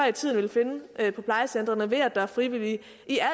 i tiden ville finde på plejecentre ved at der er frivillige